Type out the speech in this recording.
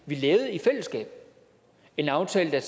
vi lavede i fællesskab en aftale der